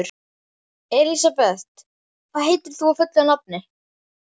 Elisabeth, hvað heitir þú fullu nafni?